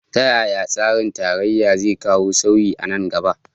Ta yaya tsarin tarayya zai kawo sauyi a nan gaba?